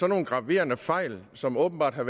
nogle graverende fejl som åbenbart var